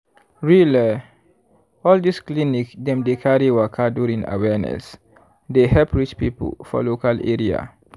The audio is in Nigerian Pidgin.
reall eh all this clinic dem dey carry waka during awareness dey help reach people for local area.